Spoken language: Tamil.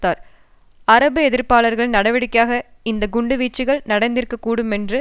எதிர்ப்பாளர்களின் நடவடிக்கையாக இந்த குண்டு வீச்சுக்கள் நடந்திருக்க கூடுமென்று அவர் கூறியுள்ளார்